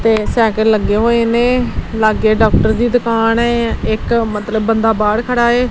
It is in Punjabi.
ਤੇ ਸਾਈਕਲ ਲੱਗੇ ਹੋਏ ਨੇ ਲੱਗੇ ਡਾਕਟਰ ਦੀ ਦੁਕਾਨ ਹੈ ਇੱਕ ਮਤਲਬ ਬੰਦਾ ਬਾਹਰ ਖੜਾ ਹੈ।